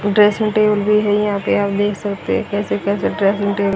dressing table भी है यहां पे आप देख सकते हैं कैसे कैसे ट्रैफिंक डे --